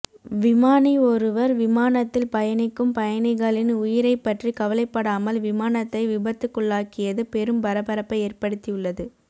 விமானி ஒருவர் விமானத்தில் பயணிக்கும் பயணிகளின் உயிரை பற்றி கவலைப்படாமல் விமானத்தை விபத்துக்குள்ளாக்கியது பெரும் பரபரப்பை ஏற்படுத்தியுள்ளது